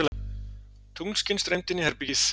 Tunglskin streymdi inn í herbergið.